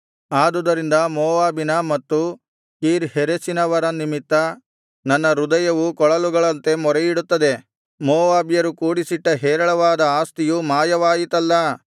ಆದುದರಿಂದ ಮೋವಾಬಿನ ಮತ್ತು ಕೀರ್ ಹೆರೆಸಿನವರ ನಿಮಿತ್ತ ನನ್ನ ಹೃದಯವು ಕೊಳಲುಗಳಂತೆ ಮೊರೆಯಿಡುತ್ತದೆ ಮೋವಾಬ್ಯರು ಕೂಡಿಸಿಟ್ಟ ಹೇರಳವಾದ ಆಸ್ತಿಯು ಮಾಯವಾಯಿತಲ್ಲಾ